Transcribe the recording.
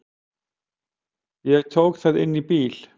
Ég tók það inn í bíl.